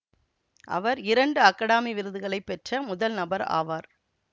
அவர் இரண்டு அகாடமி விருதுகளை பெற்ற முதல் நபர் ஆவார்